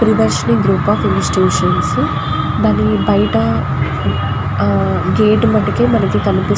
Priyadarshini group of institutions దాని బయట ఆహ్ గేట్ వటికి మనకి కనిపి --